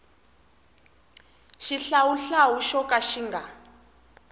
xihlawuhlawu xo ka xi nga